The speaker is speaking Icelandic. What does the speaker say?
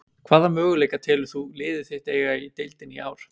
Hvaða möguleika telur þú liðið þitt eiga í deildinni í ár?